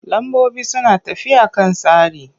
Lambobi suna tafiya a kan tsari.